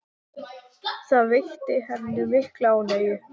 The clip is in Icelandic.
Það veitti henni mikla ánægju.